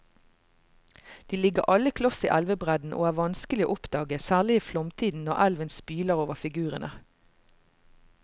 De ligger alle kloss i elvebredden og er vanskelige å oppdage, særlig i flomtiden når elven spyler over figurene.